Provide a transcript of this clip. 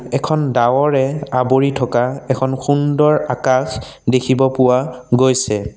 এখন ডাৱৰে আৱৰি থকা এখন সুন্দৰ আকাশ দেখিব পোৱা গৈছে।